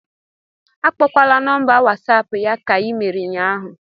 Akpọkwala nọmba whatsapp ya ka i mere ụnyahụ